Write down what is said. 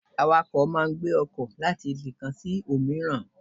Awakọ ma n gbè ọkọ latí ibi kán sí omìràn